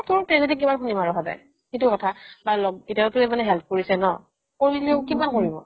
তোৰ tragedy কিমান শুনিম আৰু সদাই সেটো কথা বা ল'গ কেইতিয়াওতো help কৰিছে ন কৰিলো কিমান কৰিম আৰু